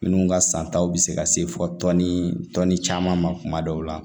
Minnu ka santaw bɛ se ka se fɔ tɔnni tɔn ni caman ma tuma dɔw la